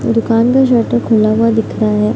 दुकान का शटर खुला हुआ दिख रहा है।